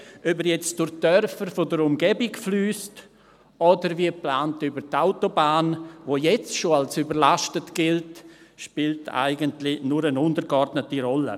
Ob er durch die Dörfer in der Umgebung fliesst oder wie geplant über die Autobahn, die jetzt schon als überlastet gilt, spielt eigentlich nur eine untergeordnete Rolle.